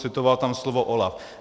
Citoval tam slova OLAF.